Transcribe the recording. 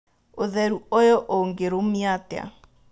ũtheru ũyũ ũngĩrũmio atĩa.